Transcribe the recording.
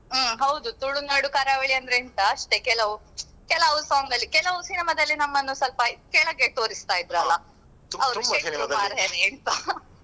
ಹ್ಮ್ ಹೌದು ತುಳುನಾಡು ಕರಾವಳಿ ಅಂದ್ರೆ ಎಂತ ಅಷ್ಟೇ ಕೆಲವು ಕೆಲವು song ಅಲ್ಲಿ ಕೆಲವು cinema ದಲ್ಲಿ ನಮ್ಮನ್ನು ಸ್ವಲ್ಪ ಕೆಳಗೆ ತೋರಿಸ್ತಾ ಇದ್ರಲ.